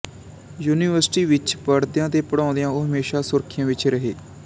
university ਵਿਚ ਪੜ੍ਹਦਿਆਂ ਤੇ ਪੜ੍ਹਾਉਂਦਿਆਂ ਉਹ ਹਮੇਸ਼ਾ ਸੁਰਖੀਆਂ ਵਿਚ ਰਹੇ